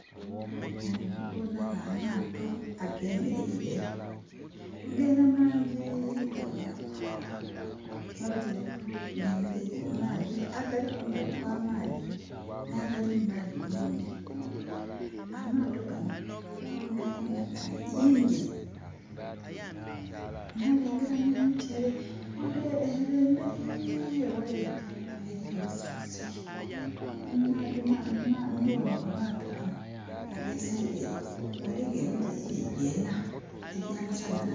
Wano ndikuboonawo amaato agemereire nga era mangi gawereku. Mabitirivu gemereire mu maadhi, agali kumbali kwa maadhi na gali mu maadhi mwene. Amaato gano gonagona ga yingine. Nalengera ne miti ere wale ere mberi ewala ere eliyo olusozi. Niwano wa maato wano agesaidi ere waliwo emiti jijjo ena eja masanalaze